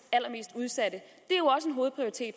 mest udsatte